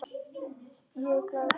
Þá er ég glaður.